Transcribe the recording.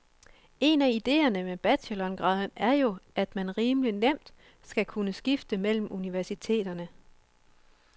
En af idéerne med bachelorgraden er jo, at man rimelig nemt skal kunne skifte mellem universiteterne.